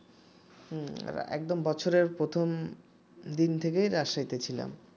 হুম একদম বছরের প্রথম দিন থেকেই রাজশাহীতে ছিলাম